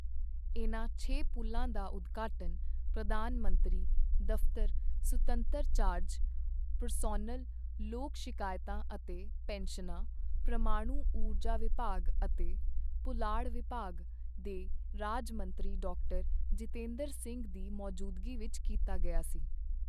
ਇਨ੍ਹਾਂ ਛੇ ਪੁਲ਼ਾਂ ਦਾ ਉਦਘਾਟਨ ਪ੍ਰਧਾਨ ਮੰਤਰੀ ਦਫ਼ਤਰ ਸੁਤੰਤਰ ਚਾਰਜ, ਪ੍ਰਸੋਨਲ, ਲੋਕ ਸ਼ਿਕਾਇਤਾਂ ਅਤੇ ਪੈਨਸ਼ਨਾਂ, ਪ੍ਰਮਾਣੂ ਊਰਜਾ ਵਿਭਾਗ ਅਤੇ ਪੁਲਾੜ ਵਿਭਾਗ ਦੇ ਰਾਜ ਮੰਤਰੀ ਡਾ ਜਤਿੰਦਰ ਸਿੰਘ ਦੀ ਮੌਜੂਦਗੀ ਵਿੱਚ ਕੀਤਾ ਗਿਆ ਸੀ।